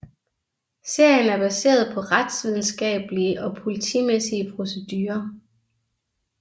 Serien er baseret på retsvidenskablige og politimæssige procedurer